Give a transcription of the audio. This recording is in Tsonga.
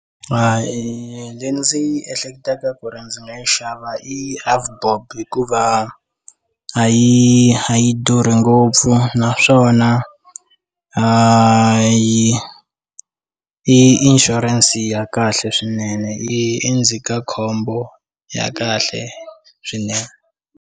I ndzi ehleketaka ku ri ndzi nga yi xava i avbob hikuva a yi a yi durhi ngopfu naswona i i insurance ya kahle swinene yi endzhaka khombo ya kahle swinene.